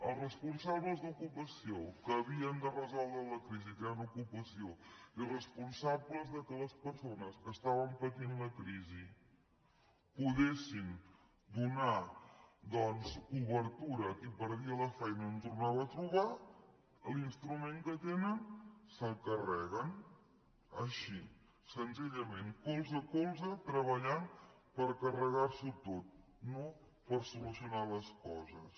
els responsables d’ocupació que havien de resoldre la crisi creant ocupació i els responsables que les persones que estaven patint la crisi poguessin donar doncs cobertura a qui perdia la feina i no en tornava a trobar l’instrument que tenen se’l carreguen així senzillament colze a colze treballant per carregar s’ho tot no per solucionar les coses